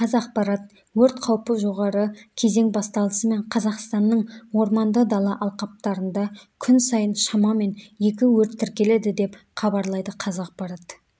қазақпарат өрт қаупі жоғары кезең басталысымен қазақстанның орманды дала алқаптарында күн сайын шамамен екі өрт тіркеледі деп хабарлайды қазақпарат